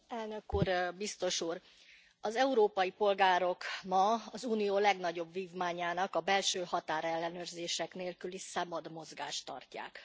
Elnök Úr, Biztos Úr, az európai polgárok ma az Unió legnagyobb vívmányának a belső határellenőrzések nélküli szabad mozgást tartják.